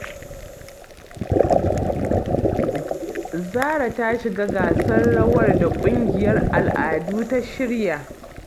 Zahra ta shiga gasar rawar da ƙungiyar al'adu ta shirya